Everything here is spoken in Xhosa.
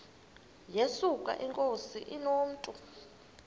yesuka inkosi inomntu